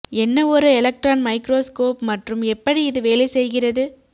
என்ன ஒரு electron microscope மற்றும் எப்படி இது வேலை செய்கிறது